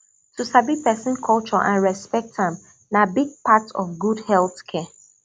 to sabi person culture and respect am na big part of good health care